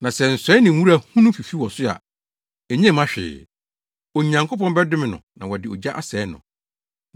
Na sɛ nsɔe ne nwura hunu fifi wɔ so a, enye mma hwee. Onyankopɔn bɛdome no na wɔde ogya asɛe no.